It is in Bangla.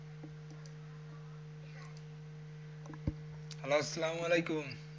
Hello আসালাম ওয়ালাইকুম।